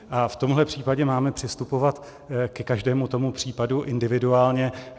A v tomhle případě máme přistupovat ke každému tomu případu individuálně.